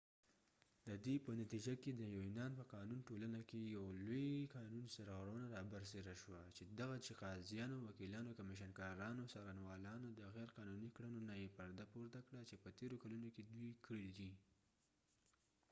ددې په نتیجه کې د یونان په قانونی ټولنه کې یو لوي قانونی سرغړونه رابرسیره شوه چې دغه چې قاضیانو وکېلانو کمیشن کارانو څارنوالانو د غیر قانونی کړنو نه یې پرده پورته کړه چې يه تیرو کلونو کې دوي کړي دي